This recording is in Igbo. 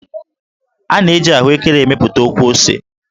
A na-eji ahụékéré emepụta ọkwụose